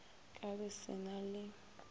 ka be se na le